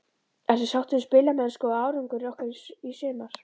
Ertu sáttur við spilamennsku og árangur ykkar í sumar?